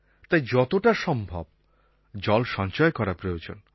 তাই যতটা সম্ভব জল সঞ্চয় করা প্রয়োজন